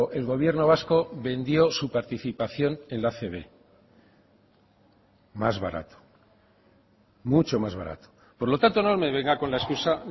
el gobierno vasco vendió su participación en la acb más barato mucho más barato por lo tanto no me venga con la excusa